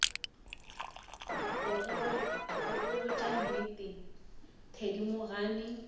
go go botša nnete thedimogane